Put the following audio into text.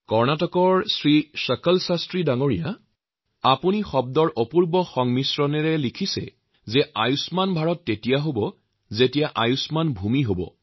কৰ্ণাটকৰ শ্ৰী চকল শাস্ত্ৰীয়ে খুব সুন্দৰ ভাষাত লিখিছে আয়ুষ্মাণ ভাৰত তেতিয়াহে সম্ভৱ যেতিয়া আয়ুষ্মাণ ভূমি হব